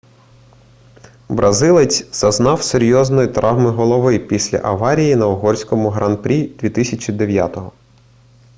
бразилець зазнав серйозної травми голови після аварії на угорському гран-прі 2009